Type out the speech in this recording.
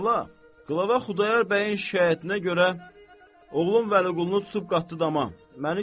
Xala, Qlava Xudayar bəyin şikayətinə görə, oğlun Vəli-Qulunu tutub qatdı dama.